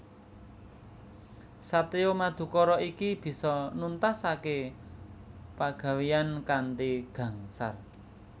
Satriya Madukara iki bisa nuntaské pagawéyan kanthi gangsar